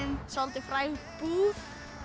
soldið fræg búð